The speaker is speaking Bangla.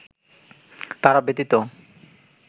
তারা ব্যতীত